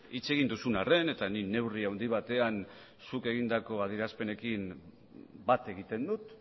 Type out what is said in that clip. hitz egin duzun arren eta nik neurri handi batean zuk egindako adierazpenekin bat egiten dut